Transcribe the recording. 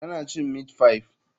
Tana cin meat pie.